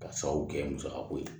Ka sababu kɛ musaka ko ye